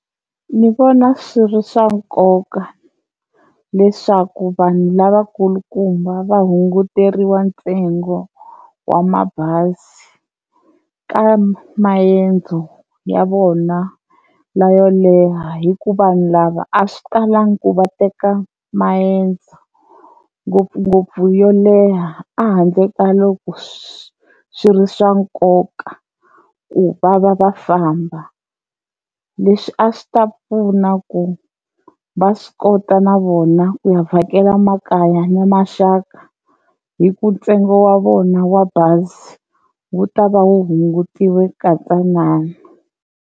Ni vona swi ri swa nkoka leswaku vanhu lavakulukumba va hunguteriwa ntsengo wa mabazi ka maendzo ya vona la yo leha hi ku vanhu lava a swi talangi ku va teka maendzo ngopfungopfu yo leha a handle ka loko swi swi ri swa nkoka ku va va va famba, leswi a swi ta pfuna ku va swi kota na vona ku vhakela makaya na maxaka hi ku ntsengo wa vona wa bazi wu ta va hungutile ka ntsanana.